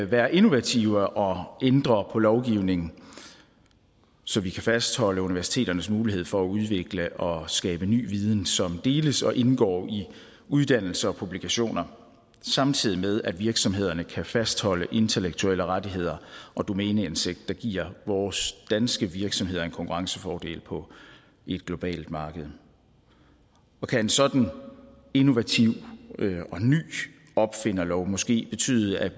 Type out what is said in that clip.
være innovative og ændre på lovgivningen så vi kan fastholde universiteternes mulighed for at udvikle og skabe ny viden som deles og indgår i uddannelser og publikationer samtidig med at virksomhederne kan fastholde intellektuelle rettigheder og domæneindsigt hvilket giver vores danske virksomheder en konkurrencefordel på et globalt marked og kan en sådan innovativ og ny opfinderlov måske betyde at